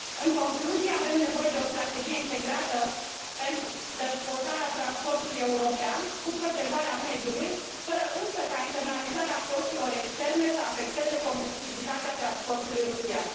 În concluzie, avem nevoie de o strategie integrată pentru dezvoltarea transportului european, cu protejarea mediului, fără însă ca internalizarea costurilor externe să afecteze competitivitatea transportului rutier.